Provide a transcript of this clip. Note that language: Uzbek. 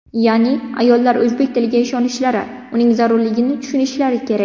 Ya’ni ayollar o‘zbek tiliga ishonishlari, uning zarurligini tushunishlari kerak.